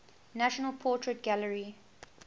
national portrait gallery